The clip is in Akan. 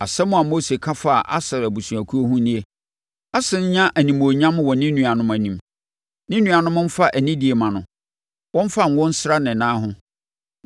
Asɛm a Mose ka faa Aser abusuakuo ho nie: “Aser nnya animuonyam wɔ ne nuanom anim; ne nuanom mfa anidie mma no; wɔmfa ngo nsra ne nan ho.